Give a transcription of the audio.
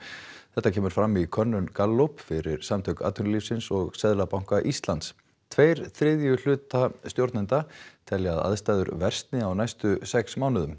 þetta kemur fram í könnun Gallup fyrir samtök atvinnulífsins og Seðlabanka Íslands tveir þriðju hlutar stjórnenda telja að aðstæður versni á næstu sex mánuðum